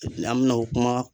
An bena o kuma